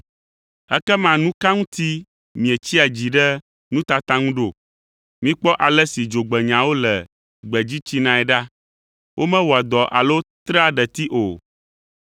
“Ekema nu ka ŋuti mietsia dzi ɖe nutata ŋu ɖo? Mikpɔ ale si dzogbenyawo le gbedzi tsinae ɖa. Womewɔa dɔ alo trea ɖeti o.